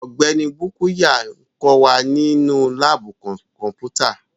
Ọgbẹni Bukuya n kọ wa ninu laabu kọnputa